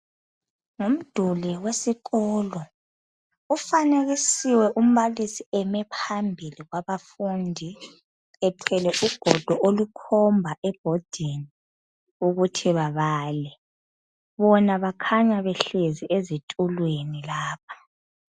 Ngumduli wesikolo ufanekisiwe umbalisi eme phambili kwabafundi ethwele ugodo olukhomba ebhodini ukuthi babale. Bona bakhanya behlezi ezitulweni lapha.